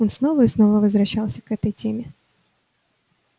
он снова и снова возвращался к этой теме